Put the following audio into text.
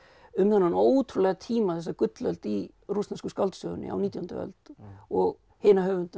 um þennan ótrúlega tíma þessa gullöld í rússnesku skáldsögunni á nítjándu öld og hina höfundana